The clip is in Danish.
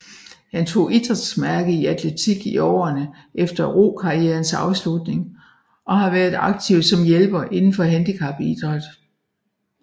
Han tog idrætsmærke i atletik i årene efter rokarrierens afslutning og har været aktiv som hjælper inden for handicapidræt